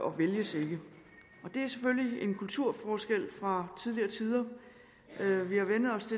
og vælges ikke det er selvfølgelig en kulturforskel fra tidligere tider vi har vænnet os